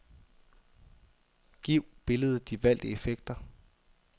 Giv billedet de valgte effekter.